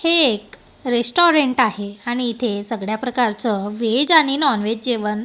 हे एक रेस्टॉरंट आहे आणि इथे सगळ्या प्रकारचं व्हेज आणि नॉनव्हेज जेवण--